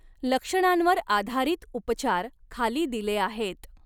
लक्षणांवर आधारित उपचार खाली दिले आहेत.